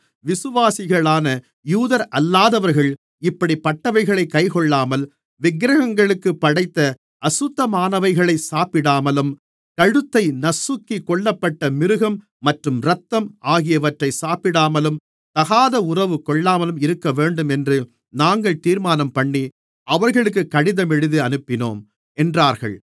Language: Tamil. விசுவாசிகளான யூதரல்லாதவர்கள் இப்படிப்பட்டவைகளைக் கைக்கொள்ளாமல் விக்கிரகங்களுக்குப் படைத்த அசுத்தமானவைகளை சாப்பிடாமலும் கழுத்தை நசுக்கி கொல்லப்பட்ட மிருகம் மற்றும் இரத்தம் ஆகியவற்றை சாப்பிடாமலும் தகாத உறவு கொள்ளாமலும் இருக்கவேண்டும் என்று நாங்கள் தீர்மானம்பண்ணி அவர்களுக்குக் கடிதம் எழுதி அனுப்பினோம் என்றார்கள்